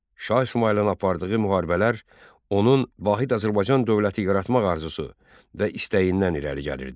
Şah İsmayılın apardığı müharibələr onun Vahid Azərbaycan dövləti yaratmaq arzusu və istəyindən irəli gəlirdi.